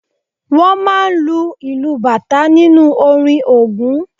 Wọ́n máa ń lu ìlù bàtà nínú orin Ògún máa ń